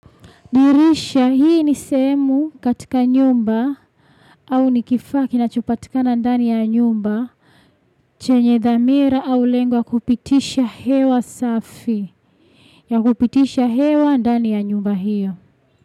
Dirisha hii ni sehemu katika nyumba au ni kifaa kinachopatika ndani ya nyumba chenye dhamira au lengwa kupitisha hewa safi na kupitisha hewa ndani ya nyumba hiyo.